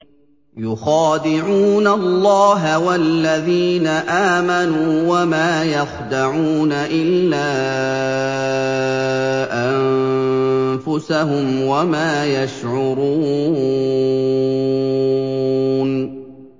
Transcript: يُخَادِعُونَ اللَّهَ وَالَّذِينَ آمَنُوا وَمَا يَخْدَعُونَ إِلَّا أَنفُسَهُمْ وَمَا يَشْعُرُونَ